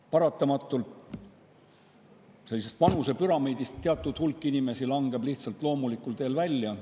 Paratamatult langeb vanusepüramiidist teatud hulk inimesi lihtsalt loomulikul teel välja.